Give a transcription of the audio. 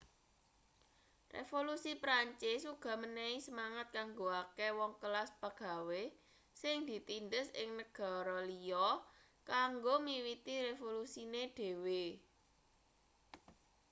revolusi prancis uga menehi semangat kanggo akeh wong kelas pagawe sing ditindhes ing negara liya kanggo miwiti revolusine dhewe